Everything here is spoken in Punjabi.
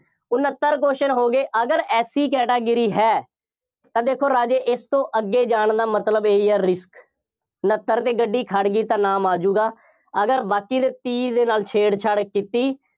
ਉਨੱਤਰ question ਹੋ ਗਏ, ਅਗਰ SC category ਹੈ। ਤਾਂ ਦੇਖੋ ਰਾਜੇ ਇਸ ਤੋਂ ਅੱਗੇ ਜਾਣ ਦਾ ਮਤਲਬ ਇਹੀ ਹੈ risk ਉਨੱਤਰ ਤੇ ਗੱਡੀ ਖੜ੍ਹ ਗਈ ਤਾਂ ਨਾਮ ਆ ਜਾਊਗਾ, ਅਗਰ ਬਾਕੀ ਦੇ ਤੀਹ ਦੇ ਨਾਲ ਛੇੜਛਾੜ ਕੀਤੀ।